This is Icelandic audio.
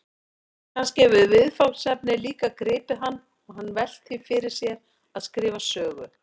Kannski hefur viðfangsefnið líka gripið hann og hann velt því fyrir sér að skrifa sögu?